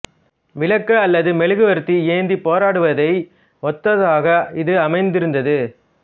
விளக்கு அல்லது மெழுகுவர்த்தி ஏந்திப் போராடுவதை ஒத்ததாக இது அமைந்திருந்தது